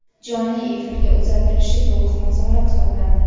jonli efirga uzatilishi to‘liq nazorat qilinadi.